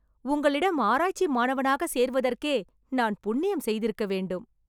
உங்களிடம் ஆராய்ச்சி மாணவனாக சேர்வதற்கே நான் புண்ணியம் செய்திருக்கவேண்டும்